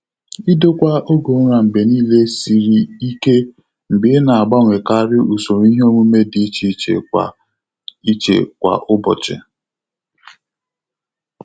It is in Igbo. Idokwa oge ụra mgbe niile siri ike mgbe ị na-agbanwekarị usoro iheomume dị iche iche kwa iche kwa ụbọchị.